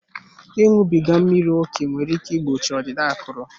Ịṅụbiga mmiri ókè nwere ike igbochi ọdịda akụrụ.